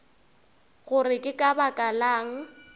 gore ke ka baka lang